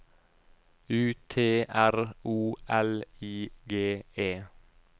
U T R O L I G E